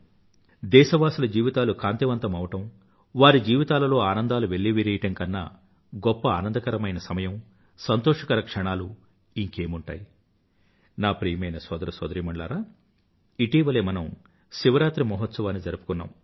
దేశవాసుల జీవితాలు కాంతివంతమవ్వడం వారి జీవితాలలో ఆనందాలు వెల్లివిరియడం కన్నా గొప్ప ఆనందకరమైన సమయం సంతోషకర క్షణాలు ఇంకేమి ఉంటాయి నా ప్రియమైన సోదర సోదరీమణులారా ఇటీవలే మనం శివరాత్రి మహోత్సవాన్ని జరుపుకున్నాం